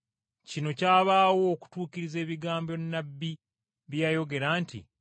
Kino kyabaawo okutuukiriza ebigambo nnabbi bye yayogera nti,